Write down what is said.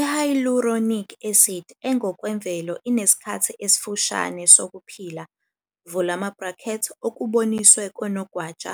I-hyaluronic acid engokwemvelo inesikhathi esifushane sokuphila, okuboniswe konogwaja,